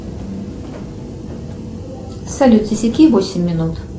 салют засеки восемь минут